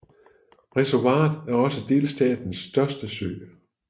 Reservoiret er også delstatens største sø